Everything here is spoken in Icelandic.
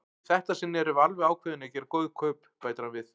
Í þetta sinn erum við alveg ákveðin í að gera góð kaup, bætir hann við.